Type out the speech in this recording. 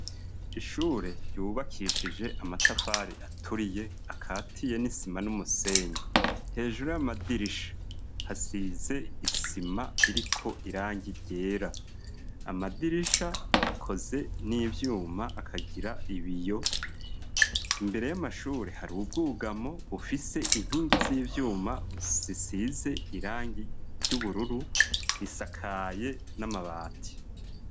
Ishure ryubakishije amatafari aturiye akatiye n'isima n'umusenyi, hejuru y'amadirisha hasize isima iriko irangi ryera. Amadirisha akoze n'ivyuma akagira ibiyo, imbere y'amashure hari ubwugamo bufise inkingi z'ivyuma zisize irangi ry'ubururu, risakaye n'amabati.